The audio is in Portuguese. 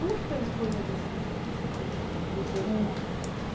Como que foi a escolha desse, desse curso, dos dois cursos no caso?